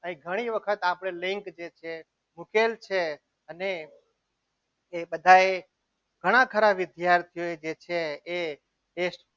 અહીં ઘણી વખત લિંક જે છે મુકેલ છે અને એ બધાએ ઘણા ખરા વિદ્યાર્થીઓએ જે એ test